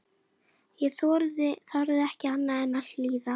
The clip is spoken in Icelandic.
Ég þorði ekki annað en að hlýða.